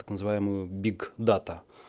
так называемую биг дата